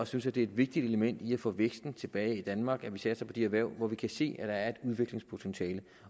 synes at det er et vigtigt element i at få væksten tilbage i danmark at vi satser på de erhverv hvor vi kan se er et udviklingspotentiale